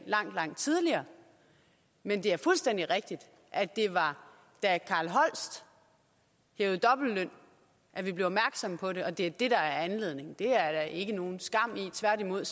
langt tidligere men det er fuldstændig rigtigt at det var da carl holst hævede dobbeltløn at vi blev opmærksomme på det og at det er det der er anledningen det er der ikke nogen skam i tværtimod